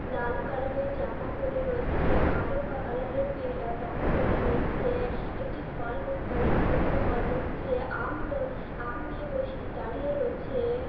লাল colour এর জামা পড়ে রয়েছে। কালো কালার এর প্যাঁ প্যান্ট পড়ে রয়েছে। একটি ফল বে বালাকে দেখতে পাওয়া যাচ্ছে। আম আম নিয়ে বস দাঁড়িয়ে রয়েছে।